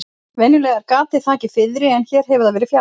Venjulega er gatið þakið fiðri en hér hefur það verið fjarlægt.